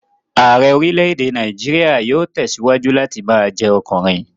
Ààrẹ́ orílè-èdè Nàìjíríà yóò tẹ̀síwájú láti ma jẹ́ ọkùnrin